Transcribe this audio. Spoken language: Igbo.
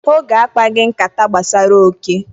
Oge akpaghị nkata gbasara oke.